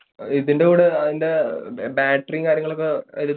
ഇതിൻറെ കൂടെ അതിൻറെ ബാറ്ററിയും കാര്യങ്ങളുമൊക്കെ